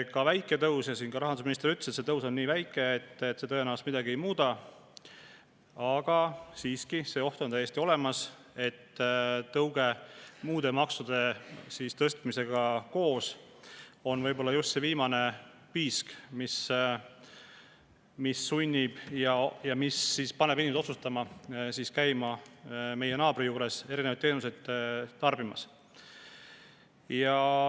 Rahandusminister küll ütles, et see tõus on nii väike ja see tõenäoliselt midagi ei muuda, aga siiski see oht on täiesti olemas, et tõuge muude maksude tõstmisega koos võib olla just viimane piisk, mis paneb inimesi otsustama käima meie naabri juures mingeid teenuseid tarbimas.